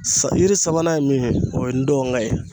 Sa yiri sabanan ye min ye, o ye ndɔnkɛ ye.